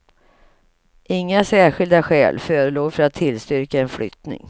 Inga särskilda skäl förelåg för att tillstyrka en flyttning.